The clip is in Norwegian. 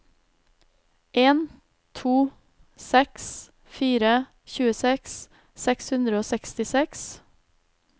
en to seks fire tjueseks seks hundre og sekstiseks